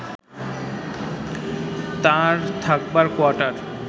তার থাকবার কোয়ার্টার